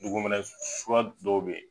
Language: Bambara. Duguminɛ suguya dɔw bɛ yen.